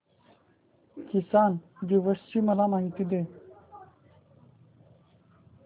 किसान दिवस ची मला माहिती दे